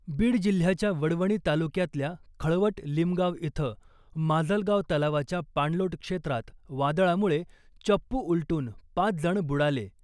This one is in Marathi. बीड जिल्ह्याच्या वडवणी तालुक्यातल्या खळवट लिमगाव इथं माजलगाव तलावाच्या पाणलोट क्षेत्रात वादळामुळे चप्पू उलटून पाच जण बुडाले .